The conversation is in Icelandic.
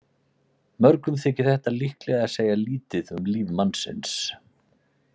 Mörgum þykir þetta líklega segja lítið um líf mannsins.